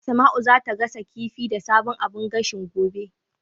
Asma'u zata gasa kifi da sabon abun gashin, gobe.